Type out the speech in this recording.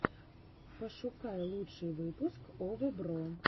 пошукай лучший выпуск овэбро